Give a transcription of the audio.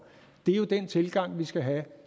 det er jo den tilgang vi skal have